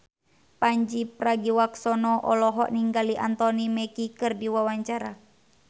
Pandji Pragiwaksono olohok ningali Anthony Mackie keur diwawancara